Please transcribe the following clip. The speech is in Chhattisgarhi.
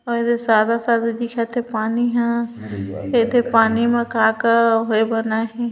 अउ एदे सादा सादा दिखत पानी ह एते पानी मा का का होए बनाही --